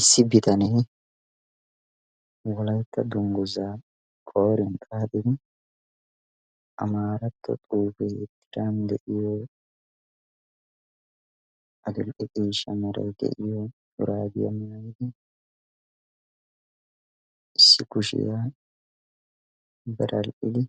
issi bitanee wolaytta dungguzaa qoriyan xaatin amaaratto xuufee tiran de'iyo adil''e ciishsha maray de'iyo suraagiyaa maayidi issikgushiyaa baral''idi